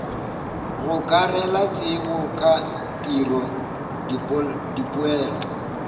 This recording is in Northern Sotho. gokarela tsebo ka tiro dipoelo